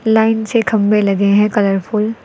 Line से खंभे लगे हैं कलरफुल ।